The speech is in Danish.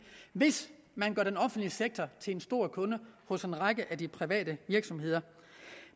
hvis man gør den offentlige sektor til en stor kunde hos en række af de private virksomheder